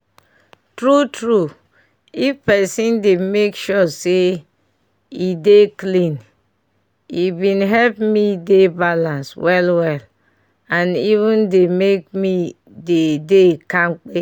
true true if pesin dey make sure say e dey clean e bin help me dey balance well well and even dey make me dey dey kampe